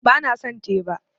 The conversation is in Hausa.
Ba na son teba